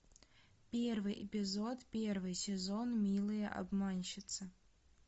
первый эпизод первый сезон милые обманщицы